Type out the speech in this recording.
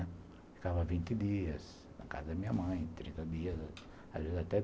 Ficava vinte dias na casa da minha mãe, trinta dias, às vezes até